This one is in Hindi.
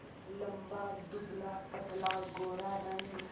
लंबा दुबलापतला गोरा रंग